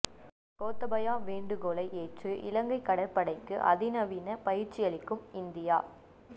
கோத்தபயா வேண்டுகோளை ஏற்று இலங்கை கடற்படைக்கு அதிநவீன பயிற்சி அளிக்கும் இந்தியா